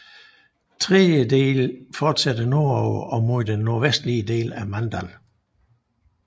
Den tredje del fortsætter nordover og mod den nordvestliger del af Mandal